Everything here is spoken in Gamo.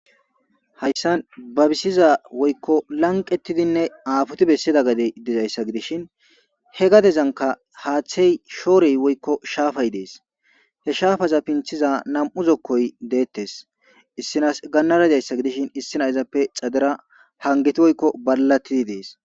Haysan babisiza woyko apotidinne lanqeti besidaysi gadey dizaysa gidishn he gadezanka haathey shoorey woyko shafay des,he shafaza pinthiz nam'u zokoy detes, issinas ganara dizaysa gidishn issinas izappe xadeta hageti woyko balati besid des